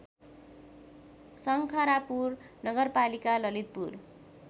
शङ्खरापुर नगरपालिका ललितपुर